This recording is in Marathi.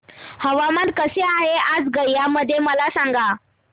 हवामान कसे आहे आज गया मध्ये मला सांगा